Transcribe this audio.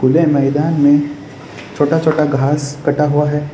यह मैदान में छोटा छोटा घास कटा हुआ है।